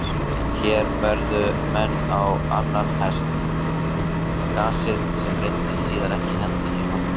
Hér veðjuðu menn á annan hest, gasið, sem reyndist síðar ekki henta hér á landi.